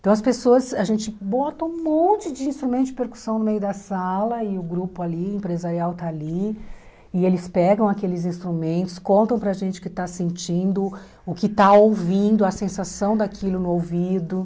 Então, as pessoas, a gente bota um monte de instrumento de percussão no meio da sala e o grupo ali, o empresarial está ali, e eles pegam aqueles instrumentos, contam para a gente o que está sentindo, o que está ouvindo, a sensação daquilo no ouvido.